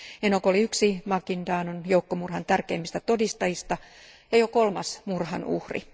Enog oli yksi Maguindanaon joukkomurhan tärkeimmistä todistajista ja jo kolmas murhan uhri.